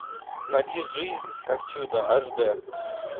найди жизнь как чудо аш дэ